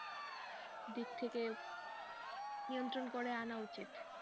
দিক থেকে নিয়ন্ত্রন করে আনা উচিৎ।